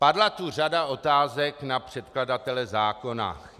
Padla tu řada otázek na předkladatele zákona.